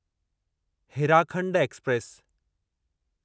Hirakhand express